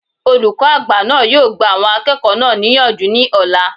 Olùkọ́ àgbà náà yóò gba àwọn akẹ́kọ̀ọ́ náà níyànjú ní ọ̀la